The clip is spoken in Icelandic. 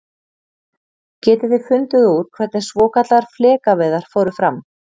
Getið þið fundið út hvernig svokallaðar flekaveiðar fóru fram?